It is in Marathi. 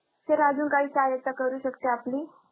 Sir अजून कांही सहाय्यता करू शकते आपली?